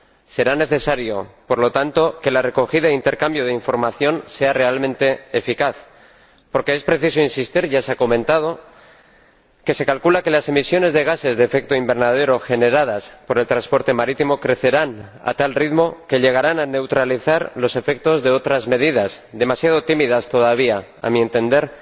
Será necesario, por lo tanto, que la recogida e intercambio de información sea realmente eficaz, porque es preciso insistir —ya se ha comentado— en que se calcula que las emisiones de gases de efecto invernadero generadas por el transporte marítimo crecerán a tal ritmo que llegarán a neutralizar los efectos de otras medidas ―demasiado tímidas todavía a mi entender―,